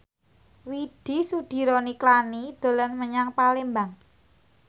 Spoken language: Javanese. Widy Soediro Nichlany dolan menyang Palembang